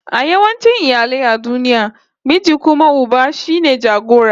A yawancin iyali a duniya, miji kuma uba shine jagora